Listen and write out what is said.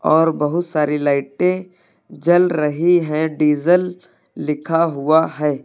और बहुत सारी लाइटे जल रही है और डीजल लिखा हुआ है।